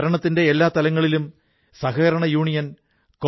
അതിലൂടെ നിഷ്പ്രയാസം പച്ചക്കറികൾക്ക് ഓർഡർ കൊടുക്കാം